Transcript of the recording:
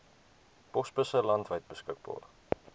posbusse landwyd beskikbaar